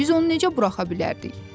Biz onu necə buraxa bilərdik?